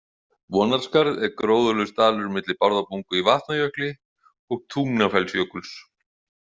Vonarskarð er gróðurlaus dalur milli Bárðarbungu í Vatnajökli og Tungnafellsjökuls.